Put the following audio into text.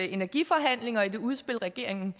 energiforhandlinger og i det udspil regeringen